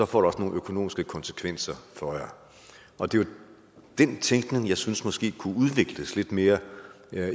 får det også nogle økonomiske konsekvenser for jer og det er den tænkning jeg synes måske kunne udvikles lidt mere